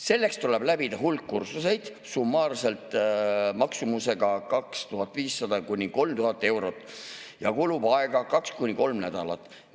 Selleks tuleb läbida hulk kursuseid summaarselt maksumusega 2500–3000 eurot ja aega kulub kaks kuni kolm nädalat.